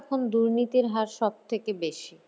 এখন দুর্নীতির হার সবথেকে বেশি